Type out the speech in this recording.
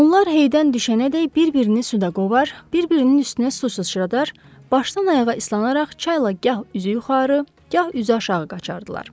Onlar heydən düşənədək bir-birini suda qovar, bir-birinin üstünə su sıçradar, başdan ayağa islanaraq çayla gah üzü yuxarı, gah üzü aşağı qaçırdılar.